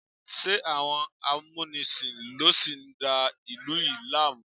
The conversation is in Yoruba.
Ṣé àwọn amúnisìn ló sì ń da ìlú yìí láàmú?